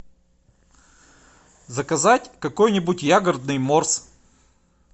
заказать какой нибудь ягодный морс